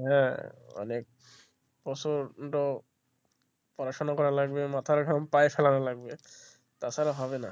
হ্যাঁ অনেক প্রচন্ড পড়াশোনা করা লাগবে মাথায় ঘাম পা এ ফেলানো লাগবে তাছাড়া হবে না